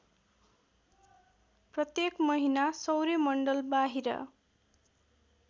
प्रत्येक महिना सौर्यमण्डलबाहिर